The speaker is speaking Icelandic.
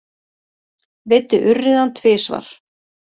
Veiddi urriðann tvisvar